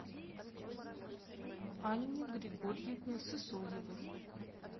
анне григорьевне сысоевой